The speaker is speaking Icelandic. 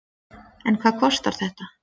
En hvað kostar þetta?